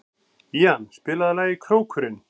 Ían, spilaðu lagið „Krókurinn“.